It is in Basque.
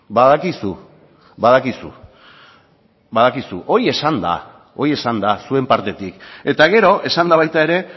badakizu badakizu badakizu hori esan da hori esan da zuen partetik eta gero esan da baita ere